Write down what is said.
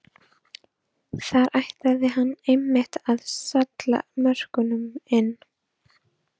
Þar ætlaði hann einmitt að salla mörkunum inn!